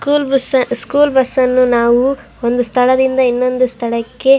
school bus school ಬಸ್ಸನ್ನ ನಾವು ಒಂದು ಸ್ಥಳದಿಂದ ಇನ್ನೊಂದು ಸ್ಥಳಕ್ಕೆ --